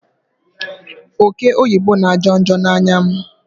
Oke oyibo na ajo njo n'anya m